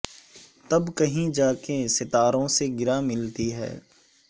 تب کہیں جا کے ستاروں سے گراں ملتی ہے